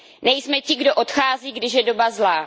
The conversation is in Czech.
Nejsme ti, kdo odchází, když je doba zlá.